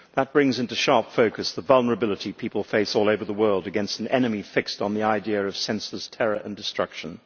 That brings into sharp focus the vulnerability people face all over the world against an enemy fixed on the idea of senseless terror and destruction.